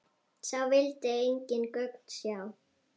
Sá vildi engin gögn sjá.